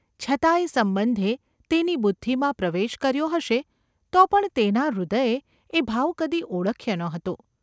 છતાં એ સંબંધે તેની બુદ્ધિમાં પ્રવેશ કર્યો હશે તો પણ તેના હૃદયે એ ભાવ કદી ઓળખ્યો ન હતો.